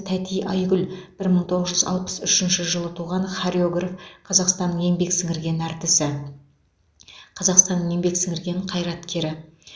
тәти айгүл бір мың тоғыз жүз алпыс үшінші жылы туған хореограф қазақстанның еңбек сіңірген әртісі қазақстанның еңбек сіңірген қайраткері